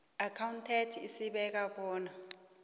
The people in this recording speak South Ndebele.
accountant esibeka bona